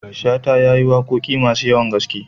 Shata ya yi waƙoƙi masu yawan gaske.